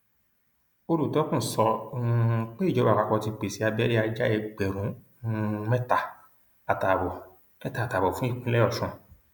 olùtọkùn sọ um pé ìjọba àpapọ ti pèsè abẹrẹ ajá ẹgbẹrún um mẹta àtààbọ mẹta àtààbọ fún ìpínlẹ ọṣun